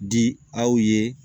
Di aw ye